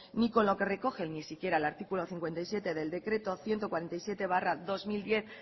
ni con lo que recoge ni siquiera el artículo cincuenta y siete del decreto ciento cuarenta y siete barra dos mil diez